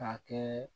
K'a kɛ